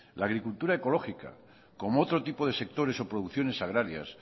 la agricultura ecológica como otro tipo de sectores o producciones agrarias